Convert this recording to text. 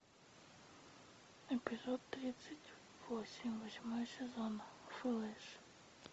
эпизод тридцать восемь восьмой сезон флэш